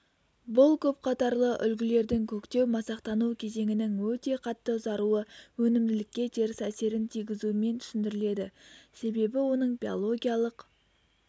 бұл көпқатарлы үлгілердің көктеу-масақтану кезеңінің өте қатты ұзаруы өнімділікке теріс әсерін тигізуімен түсіндіріледі себебі оның биологиялық